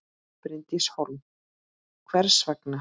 Bryndís Hólm: Hvers vegna?